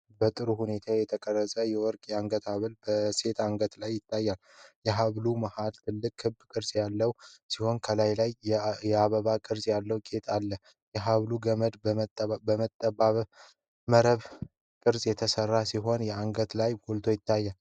በጥሩ ሁኔታ የተቀረጸ የወርቅ የአንገት ሐብል በሴት አንገት ላይ ይታያል። የሐብሉ መሀል ትልቅ ክብ ቅርጽ ያለው ሲሆን፣ ከላዩ ላይ የአበባ ቅርጽ ያለው ጌጥ አለ። የሐብሉ ገመድ በጠባብ መረብ ቅርጽ የተሠራ ሲሆን አንገት ላይ ጎልቶ ይታያል።